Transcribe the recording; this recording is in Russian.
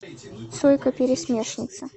сойка пересмешница